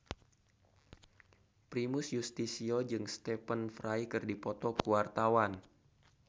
Primus Yustisio jeung Stephen Fry keur dipoto ku wartawan